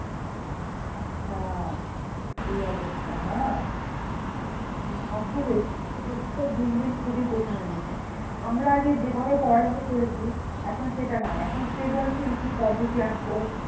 আচ্ছা, এই অবস্থা না? শিক্ষাব্যবস্থা দিন দিন খুবই কঠিন হয়ে গিয়েছে, আমরা আগে যেভাবে পড়ালেখা করেছি, এখন সেটা নাই, এখন সৃজনশীল কি পদ্ধতি আসলো,